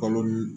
Kalo